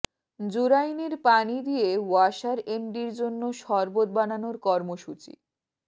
জুরাইনের পানি দিয়ে ওয়াসার এমডির জন্য শরবত বানানোর কর্মসূচি